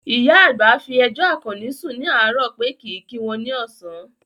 Ìyá àgbà fi ẹjọ́ Àkànní sùn ní àárò pé kìí kí àwọn ní ọ̀sán